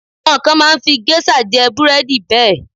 Àwọn kan máa ń fi géṣà jẹ búrẹ́dì bẹ́ẹ̀.